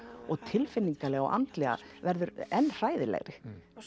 og tilfinnilega og andlega verður enn hræðilegri